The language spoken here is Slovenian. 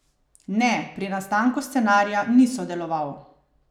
Ne, pri nastanku scenarija ni sodeloval.